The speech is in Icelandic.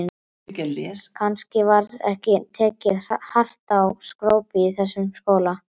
Kannski var ekki tekið hart á skrópi í þessum skóla.